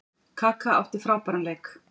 Kaka átti frábæran leik.